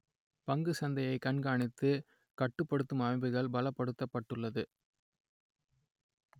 பங்குச் சந்தையை கண்காணித்து கட்டுப்படுத்தும் அமைப்புகள் பலப்படுத்தப்பட்டுள்ளது